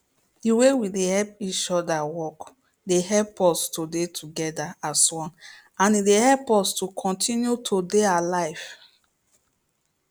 the way we dey help each other work dey help us to dey together as one and e dey help us to continue to dey alive